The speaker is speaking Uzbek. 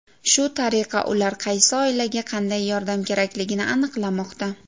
Shu tariqa ular qaysi oilaga qanday yordam kerakligini aniqlamoqda.